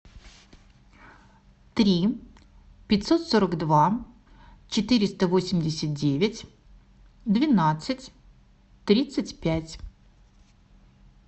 три пятьсот сорок два четыреста восемьдесят девять двенадцать тридцать пять